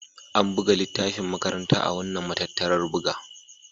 An buga littafin makaranta a wannan matattarar buga.